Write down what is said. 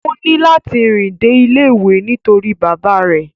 O ni lati rìn dé ilé ìwé nítorí bàbá rẹ̀.